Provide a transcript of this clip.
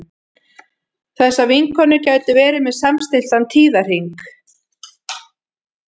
þessar vinkonur gætu verið með samstilltan tíðahring